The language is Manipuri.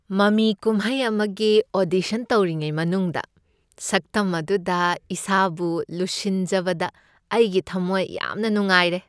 ꯃꯃꯤ ꯀꯨꯝꯍꯩ ꯑꯃꯒꯤ ꯑꯣꯗꯤꯁꯟ ꯇꯧꯔꯤꯉꯩ ꯃꯅꯨꯡꯗ ꯁꯛꯇꯝ ꯑꯗꯨꯗ ꯏꯁꯥꯕꯨ ꯂꯨꯁꯤꯟꯖꯕꯗ ꯑꯩꯒꯤ ꯊꯝꯃꯣꯏ ꯌꯥꯝꯅ ꯅꯨꯡꯉꯥꯏꯔꯦ꯫